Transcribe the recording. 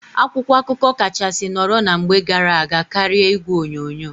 Akwụkwọ akụkọ kachasị nọrọ na mgbe gara aga karịa igwe onyonyo.